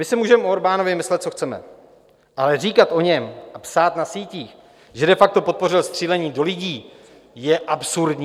My si můžeme o Orbánovi myslet, co chceme, ale říkat o něm a psát na sítích, že de facto podpořil střílení do lidí, je absurdní.